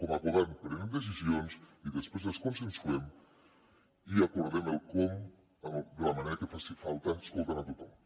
com a govern prenem decisions i després les consensuem i acordem el com de la manera que faci falta escoltant a tothom